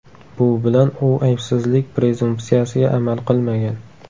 Bu bilan u aybsizlik prezumpsiyasiga amal qilmagan.